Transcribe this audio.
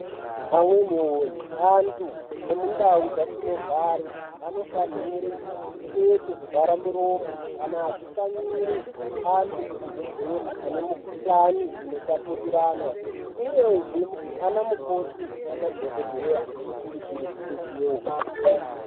Amweni woye antu ne mundau dzatino gare ano fanire kupfeke zvi zvara muromo kana achi shanyire antu ku zvibhedhleri ane mu kuhlani ino tapurirwana uyezve ana mukoti na madhokodheya ano kurudzirwe kupfekewo.